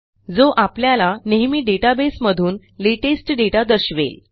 जो आपल्याला नेहमी डेटाबेस मधून लेटेस्ट दाता दर्शवेल